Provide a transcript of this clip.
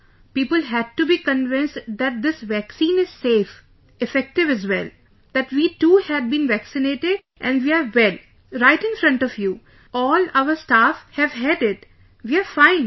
People had to be convinced that this vaccine is safe; effective as well...that we too had been vaccinated and we are well...right in front of you...all our staff have had it...we are fine